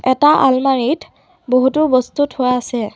এটা আলমাৰিত বহুতো বস্তু থোৱা আছে।